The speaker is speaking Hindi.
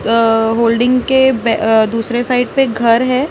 अ अ होल्डिंग के बे अ दुसरे साइड पे घर है।